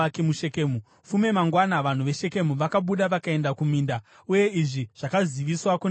Fume mangwana vanhu veShekemu vakabuda vakaenda kuminda, uye izvi zvakaziviswa kuna Abhimereki.